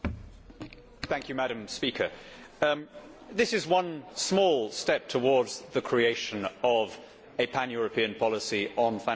Madam President, this is one small step towards the creation of a pan European policy on financial services.